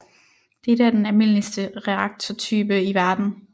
Dette er den almindeligste reaktortype i verden